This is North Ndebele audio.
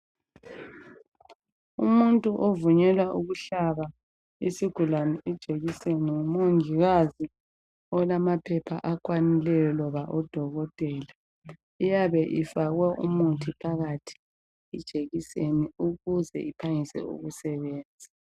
Umuntu ovunyelwa ukuhlaba isigulani ijekiseni ngumongikazi olamaphepha akwanileyo loba odokotela iyabe ifakwe umuthi phakathi ijekiseni ukuze iphangise ukusebenza.